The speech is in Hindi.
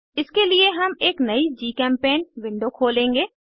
इसके लिए हम एक नयी जीचेम्पेंट विंडो खोलेंगे